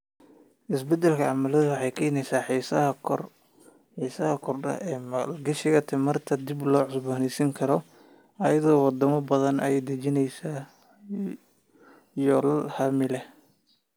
Isbeddelka cimiladu waxay keenaysaa xiisaha korodhka ee maalgashiga tamarta dib loo cusboonaysiin karo, iyadoo waddamo badan ay dejinayaan yoolal hami leh.